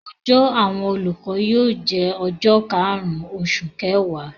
Ọjọ́ àwọn olùkọ́ yóò jẹ́ ọjọ́ karùn-ún oṣù kẹwàá.